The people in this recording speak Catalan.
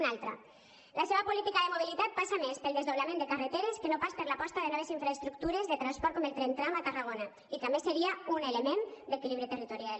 un altre la seva política de mobilitat passa més pel desdoblament de carreteres que per no pas per l’aposta de noves infraestructures de transport com el tren tram a tarragona i que a més seria un element d’equilibri territorial